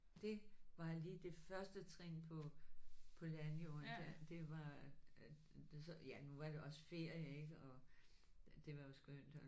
Det var lige det første trin på på landjorden der det var så ja nu var det også ferie ikk og det var jo skønt og